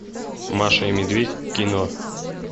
маша и медведь кино